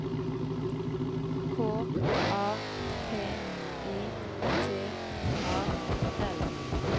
K A P I T A L